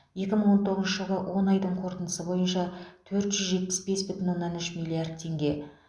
екі мың он тоғызыншы жылғы он айдың қорытындысы бойынша төрт жүз жетпіс бес бүтін оннан үш миллард теңге